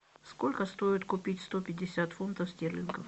сколько стоит купить сто пятьдесят фунтов стерлингов